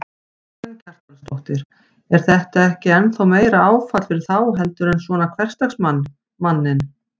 Karen Kjartansdóttir: Er þetta ekki ennþá meira áfall fyrir þá heldur en svona hversdagsmann, manninn?